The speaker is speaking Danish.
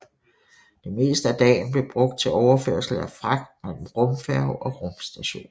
Det meste af dagen blev brugt til overførsel af fragt mellem rumfærge og rumstation